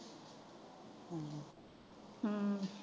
ਹਮ